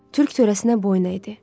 Türk törəsinə boyna idi.